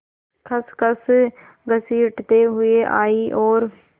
खसखस घसीटते हुए आए और